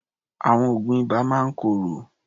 Àwọn oògùn ibà máa ń korò.